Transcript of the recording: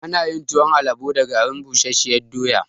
Ana yin tuwon alabo da garin busashen doya